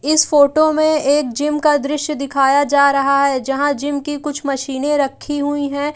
इस फोटो में एक जिम का दृश्य दिखाया जा रहा है जहाँ जिम की कुछ मशीने रखी हुई हैं।